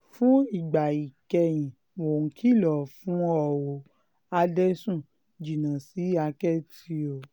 fún ìgbà ìkẹyìn mò ń kìlọ̀ fún o ò adẹ́sùn jìnnà sí àkẹ́tì o